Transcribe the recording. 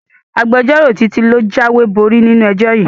Agbẹjọ́rò Títí ló jáwéborí nínú ẹjọ́ yìí